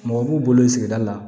Mɔgɔ b'u bolo yen sigida la